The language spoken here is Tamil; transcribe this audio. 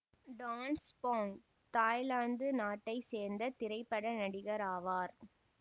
டான் சுபொங் தாய்லாந்து நாட்டை சேர்ந்த திரைப்பட நடிகர் ஆவார்